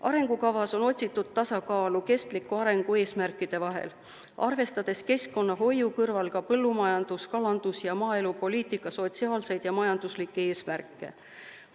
Arengukavas on otsitud tasakaalu kestliku arengu eesmärkide vahel, arvestades keskkonnahoiu kõrval ka põllumajandus-, kalandus- ja maaelupoliitika sotsiaalseid ja majanduslikke eesmärke.